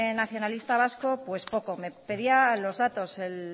nacionalista vasco pues poco me pedía los datos el